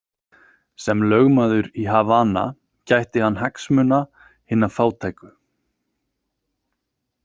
Sem lögmaður í Havana gætti hann hagsmuna hinna fátæku.